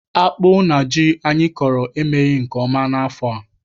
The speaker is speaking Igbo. Akpụ na ji anyị kọrọ emeghị nke ọma n'afọ a.